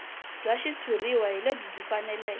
bya xitshuriwa hi lebyi faneleke